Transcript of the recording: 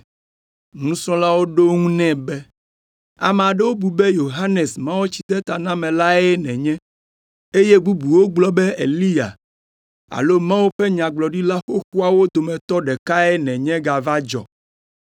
Nusrɔ̃lawo ɖo eŋu nɛ be, “Ame aɖewo bu be Yohanes Mawutsidetanamelae nènye, eye bubuwo gblɔ be Eliya alo Mawu ƒe Nyagblɔɖila xoxoawo dometɔ ɖekae nènye gava dzɔ.”